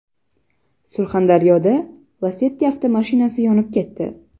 Surxondaryoda Lacetti avtomashinasi yonib ketdi.